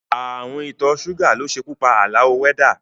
Ààrùn ìtọ́ ṣúgà ló ṣekú pa Àlàó wẹ́dà